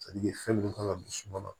fɛn min kan ka don suma na